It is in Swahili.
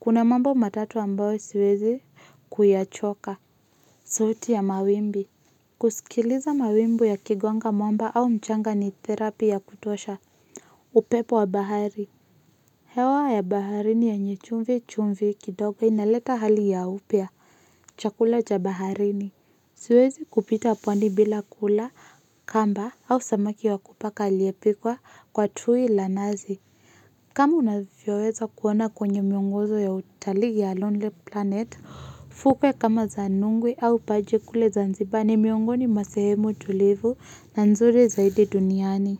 Kuna mambo matatu wa mbawe siwezi kuyachoka. Sauti ya mawimbi. Kusikiliza mawimbi ya kigwanga mwamba au mchanga ni terapi ya kutuosha. Upepo wa bahari. Hewa ya baharini ya nye chumvi chumvi kidoga inaleta hali ya upia. Chakula cha baharini. Siwezi kupita pwandi bila kula kamba au samaki wa kupaka lie pikwa kwa tui lanazi. Kama unavyoweza kuona kwenye miongozo ya utaligi ya Lonely Planet, fukwe kama zanungwe au paje kule zanzibani miongoni masehemu tulivu na nzuri zaidi duniani.